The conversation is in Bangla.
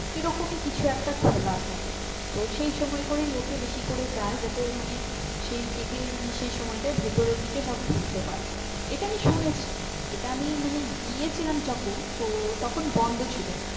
এরকমই কিছু একটা খোলা থাকে তো সেই সময় করেই লোকে বেশি করে যায় যাতে মানে সেই দিকে মানে সেই সময়টাই ভেতরের দিকে সব ঘুরতে পারবে এটা আমি শুনেছি এটা আমি মানে গিয়ে ছিলাম যখন তো তখন বন্ধ ছিল।